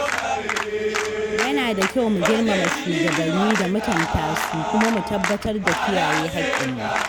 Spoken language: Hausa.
Yana da kyau mu girmama shugabanni da mutuntasu kuma mu tabbatar da kiyaye haƙƙinmu.